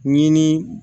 Ɲini